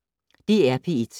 DR P1